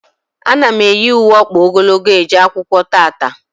A na m eyi ùwé ọkpa ogologo eje akwụkwọ tata